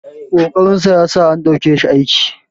ƙoƙarinsa ya sa an ɗauke shi aiki